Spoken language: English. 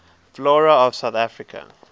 flora of south africa